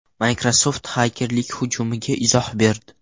Microsoft xakerlik hujumiga izoh berdi.